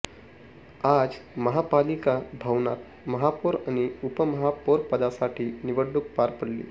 आज महापालिका भवनात महापौर आणि उपमहापौरपदासाठी निवडणूक पार पडली